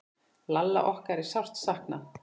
Lalla okkar er sárt saknað.